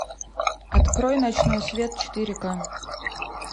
открой ночной свет четыре ка